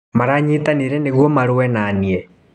Maranyitanire nĩguo marũe naniĩ.